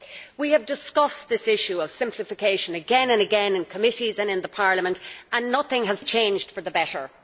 We have discussed this issue of simplification again and again in committee and in plenary, and yet nothing has changed for the better.